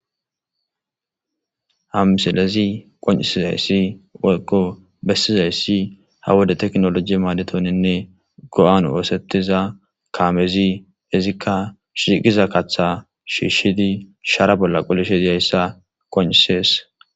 Ha msilezi qon'isizayssi wolkko bessizayssi ha wode teknoloji maaditoninne go'an woosettiza kaamezi izikka shiqiza katha shiishshidi shaara bolla qolisheiyayssa qon'isees.